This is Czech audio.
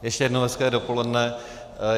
Ještě jednou hezké dopoledne.